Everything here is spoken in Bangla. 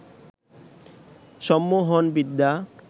সম্মোহন বিদ্যা